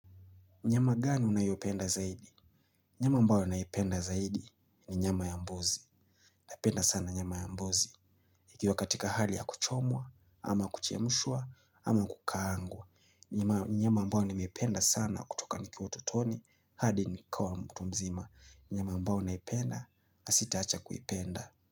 Nyama gani unayopenda zaidi? Nyama ambayo naipenda zaidi ni nyama ya mbuzi. Napenda sana nyama ya mbuzi. Ikiwa katika hali ya kuchomwa, ama kuchemshwa, ama kukaangwa nyama ambayo nimependa sana kutoka nikiwa utotoni, hadi nikawa mtu mzima. Nyama ambao naipenda, na sitaacha kuipenda.